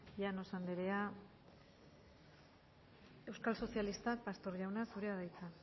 llanos andrea euskal sozialista pastor jauna zurea da hitza